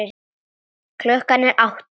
Klukkan er átta.